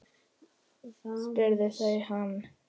spurðu þau hann.